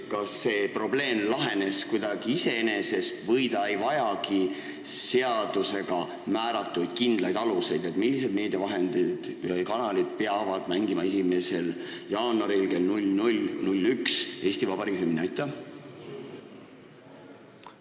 Kas see probleem lahenes kuidagi iseenesest või see ei vajagi seadusega määratud kindlaid aluseid, millised meediavahendid või -kanalid peavad 1. jaanuaril kell 00.01 Eesti Vabariigi hümni mängima?